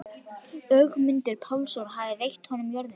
Ögmundur Pálsson hafði veitt honum jörðina.